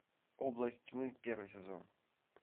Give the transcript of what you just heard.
область тьмы первый сезон